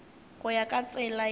go ya ka tsela ye